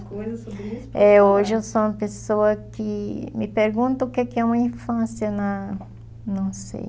sobre isso... É, hoje eu sou uma pessoa que... Me perguntam o que é uma infância na... Não sei...